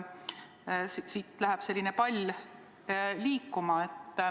Siit läheb pall liikuma.